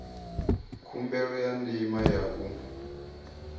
khumbelo ya ndima ya u